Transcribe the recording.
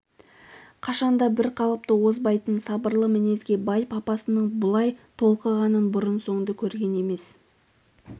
қашанда бір қалыптан озбайтын сабырлы мінезге бай папасының бұлай толқығанын бұрын-соңды көрген емес